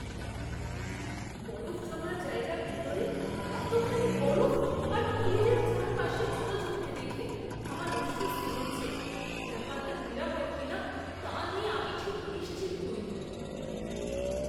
বরফ জমার জায়গার ভেতরে এতখানি বরফ আর ফ্রিজের চারপাশে জল জমতে দেখে আমার অস্বস্তি হচ্ছে; ব্যাপারটা নিরাপদ কিনা তা নিয়ে আমি ঠিক নিশ্চিত নই।